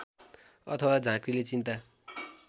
अथवा झाँक्रिले चिन्ता